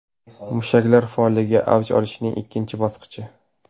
Mushaklar faolligi avj olishining ikkinchi bosqichi.